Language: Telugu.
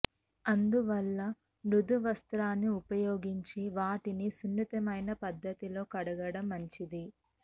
అందువల్ల మృదు వస్త్రాన్ని ఉపయోగించి వాటిని సున్నితమైన పద్ధతిలో కడగడం మంచిది